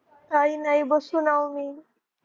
काही नाही बसून अहो आम्ही